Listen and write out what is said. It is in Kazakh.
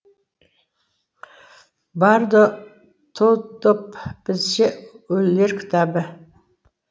бардо тодоп бізше өлілер кітабы